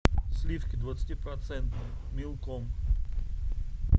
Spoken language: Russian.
сливки двадцатипроцентные милком